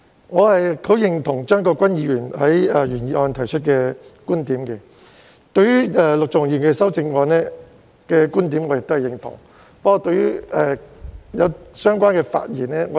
我十分認同張國鈞議員在原議案提出的觀點，以及陸頌雄議員在修正案提出的觀點，但我卻不完全認同相關的發言。